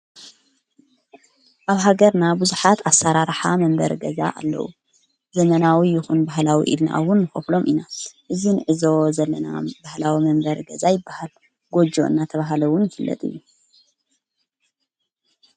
ኣብ ሃገርና ብዙኃት ኣሠራርሓ መንበር ገዛ ኣለዉ ዘመናዊ ይኹን ባህላዊ ኢድናኣዉን ምኸፍሎም ኢና እዙይ ንዕዞ ዘለና ባሕላዊ መንበሪ ገዛኣይ በሃል ጐጀ እና ተብሃለውን ይፍለጥ እዩ።